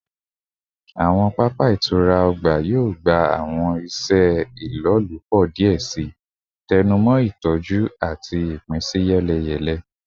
Awọn papa itura ọgba yoo gba awọn iṣe ilolupo diẹ sii, tẹnumọ itọju ati ipinsiyeleyele